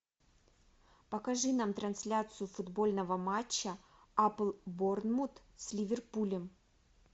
покажи нам трансляцию футбольного матча апл борнмут с ливерпулем